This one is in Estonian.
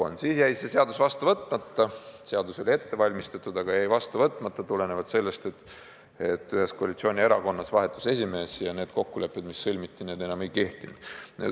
Siis jäi see seadus vastu võtmata – seadus oli ette valmistatud, aga jäi vastu võtmata –, kuna ühes koalitsioonierakonnas vahetus esimees ja kokkulepped, mis olid sõlmitud, enam ei kehtinud.